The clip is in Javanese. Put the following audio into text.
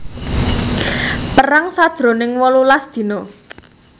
Perang sajroning wolulas dina